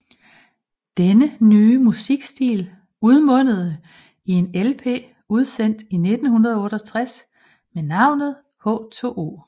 Denne nye musikstil udmundede i en LP udsendt i 1968 med navnet H2O